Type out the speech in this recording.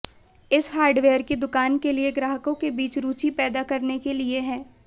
इस हार्डवेयर की दुकान के लिए ग्राहकों के बीच रुचि पैदा करने के लिए है